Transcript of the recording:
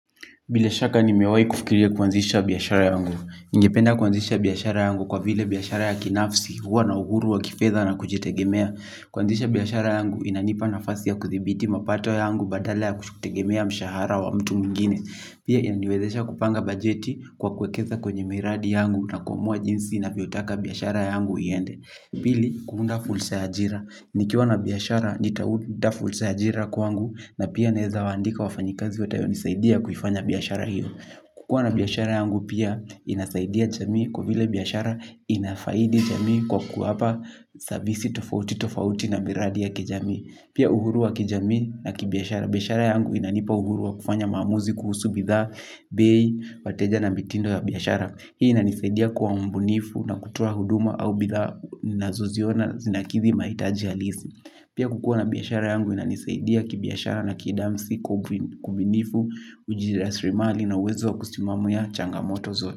Bila shaka nimewahi kufikiria kuanzisha biashara yangu. Ningependa kuanzisha biashara yangu kwa vile biashara ya kinafsi huwa na uhuru wa kifedha na kujitegemea. Kuanzisha biashara yangu inanipa nafasi ya kuthibiti mapato yangu badala ya kutegemea mshahara wa mtu mwingine. Pia inaniwezesha kupanga bajeti kwa kuwekeza kwenye miradi yangu na kuamua jinsi ninavyotaka biashara yangu iende. Pili, kuunda fursa ya ajira. Nikiwa na biashara nitaunda fursa ya ajira kwangu na pia naweza waandika wafanyikazi watayonisaidia kuifanya biashara hiyo. Kukuwa na biashara yangu pia inasaidia jamii kwa vile biashara inafaidi jamii kwa kuwapa savisi tofauti tofauti na miradi ya kijamii. Pia uhuru wa kijamii na kibiashara. Biashara yangu inanipa uhuru wa kufanya maamuzi kuhusu bidhaa bei, wateja na mitindo ya biashara. Hii inanisaidia kuwa mbunifu na kutoa huduma au bidhaa ninazoziona zinakidhi mahitaji halisi. Pia kukuwa na biashara yangu inanisaidia kibiashara na kidamsiku kubunifu ujirasilimali na uwezo wa kusimamia changamoto zote.